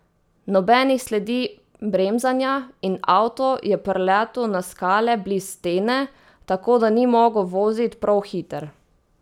Nobenih sledi bremzanja, in avto je prletu na skale bliz stene, tako da ni mogu vozit prou hitr.